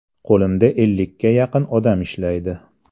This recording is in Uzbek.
Qo‘limda ellikka yaqin odam ishlaydi.